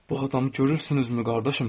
Bu adamı görürsünüzmü, qardaşım?